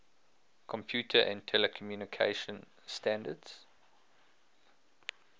computer and telecommunication standards